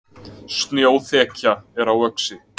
Snjóþekja er á Öxi